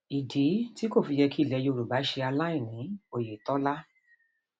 ìdí um tí kò fi yẹ kí ilẹ yorùbá ṣe aláìní um oyetola